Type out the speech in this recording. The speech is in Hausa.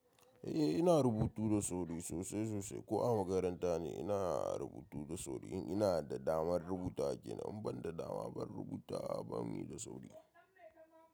Eh ina rubutu da sauri sosai-sosai ko a makaranta ne ina rubutu da sauri in ina da damar rubuta ake nan ban da dama ban rubuta ba muyi da sauri.